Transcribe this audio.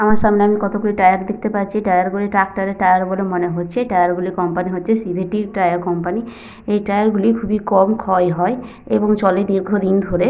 আমার সামনে আমি কতগুলি টায়ার দেখতে পাচ্ছি। টায়ার গুলি ট্র্যাক্টর এর টায়ার বলে মনে হচ্ছে। টায়ার গুলির কোম্পানি হচ্ছে সি.ভি.টি. -র টায়ার কোম্পানি । এই টায়ার গুলি খুবই কম ক্ষয় হয় এবং চলে দীর্ঘদিন ধরে।